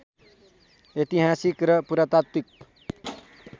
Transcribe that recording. ऐतिहासिक र पुरातात्त्विक